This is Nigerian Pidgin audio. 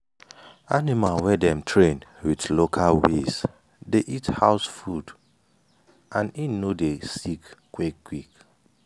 animal wey dem train with local ways dey eat house food and en no dey sick quick quick